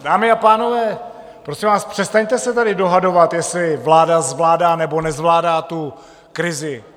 Dámy a pánové, prosím vás, přestaňte se tady dohadovat, jestli vláda zvládá, nebo nezvládá tu krizi.